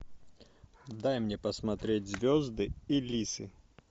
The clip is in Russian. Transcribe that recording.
дай мне посмотреть звезды и лисы